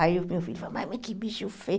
Aí o meu filho fala, mas que bicho feio.